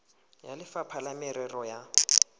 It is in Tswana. le lefapha la merero ya